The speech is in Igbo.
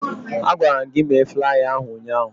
Agwara m gị mee flaya ahụ ụnyaahụ!